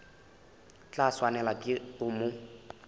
tla swanelwa ke go mo